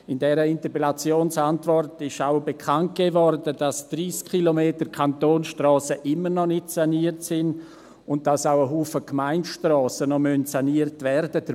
In der Interpellationsantwort wurde auch bekannt gegeben, dass 30 km Kantonsstrassen immer noch nicht saniert sind, und dass auch ein Haufen Gemeindestrassen noch saniert werden müssen.